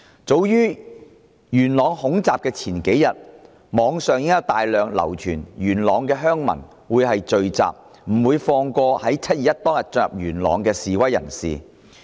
早於元朗恐襲前數天，網上已有大量信息流傳元朗的鄉民會聚集，不會放過在7月21日當天進入元朗的示威人士。